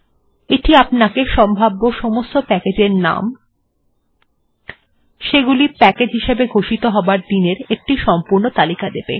এটি আপনাকে সম্ভাব্য সব প্যাকেজ্ এর নাম এবং সেগুলির প্যাকেজ্ হিসাবে ঘোষিত হবার দিনের একটি সম্পূর্ণ তালিকা দিয়ে দেবে